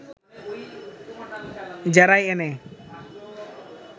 জেরায় এনে